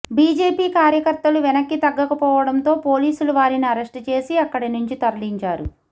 BJP కార్యకర్తలు వెనక్కి తగ్గకపోవడంతో పోలీసులు వారిని అరెస్ట్ చేసి అక్కడినుంచి తరలించారు